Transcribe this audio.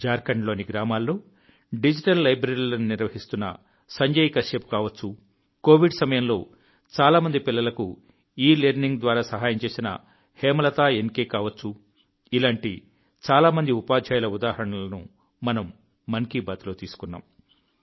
జార్ఖండ్లోని గ్రామాల్లో డిజిటల్ లైబ్రరీలను నిర్వహిస్తున్న సంజయ్ కశ్యప్ కావచ్చు కోవిడ్ సమయంలో చాలా మంది పిల్లలకు ఇలర్నింగ్ ద్వారా సహాయం చేసిన హేమలత ఎన్కె కావచ్చు ఇలాంటి చాలా మంది ఉపాధ్యాయుల ఉదాహరణలను మనం మన్ కీ బాత్లో తీసుకున్నాం